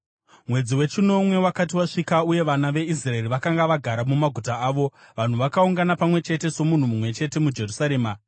Mwedzi wechinomwe wakati wasvika uye vana veIsraeri vakanga vagara mumaguta avo, vanhu vakaungana pamwe chete somunhu mumwe chete muJerusarema.